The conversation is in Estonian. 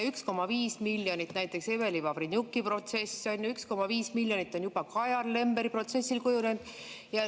1,5 miljonit näiteks Eveli Vavrenjuki protsessile, 1,5 miljonit on juba Kajar Lemberi protsessile.